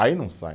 Aí não sai.